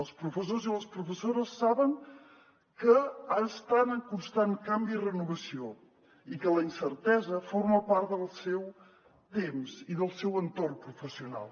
els professors i les professores saben que estan en constant canvi i renovació i que la incertesa forma part del seu temps i del seu entorn professional